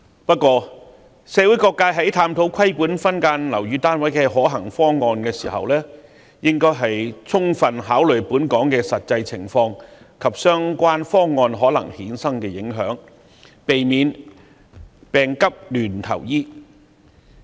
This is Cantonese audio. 不過，社會各界在探討規管分間樓宇單位的可行方案時，應該充分考慮本港的實際情況，以及相關方案可能衍生的影響，避免"病急亂投藥"。